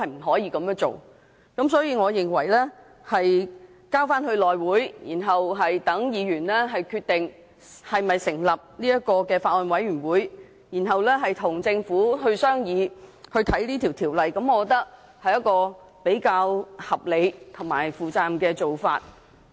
所以，將《條例草案》交付內務委員會，然後讓議員決定是否成立法案委員會，再由議員與政府商議和審視《條例草案》，我認為是比較合理和負責任的做法。